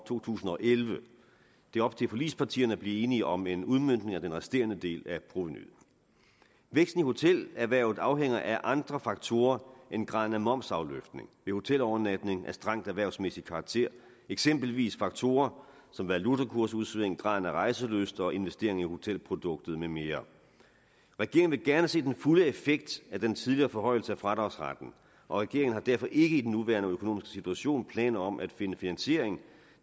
to tusind og elleve det er op til forligspartierne at blive enige om en udmøntning af den resterende del af provenuet væksten i hotelerhvervet afhænger af andre faktorer end graden af momsafløftning hotelovernatning af strengt erhvervsmæssig karakter eksempelvis faktorer som valutakursudsving graden af rejselyst og investering i hotelproduktet med mere regeringen vil gerne se den fulde effekt af den tidligere forhøjelse af fradragsretten og regeringen har derfor ikke i den nuværende økonomiske situation planer om at finde finansiering